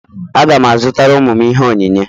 Aga m azụtara ụmụ m ihe onyinye.